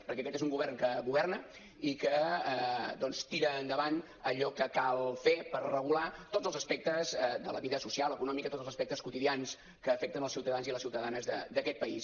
perquè aquest és un govern que governa i que doncs tira endavant allò que cal fer per regular tots els aspectes de la vida social econòmica tots els aspectes quotidians que afecten els ciutadans i les ciutadanes d’aquest país